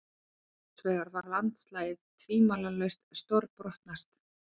Hinsvegar var landslagið tvímælalaust stórbrotnast.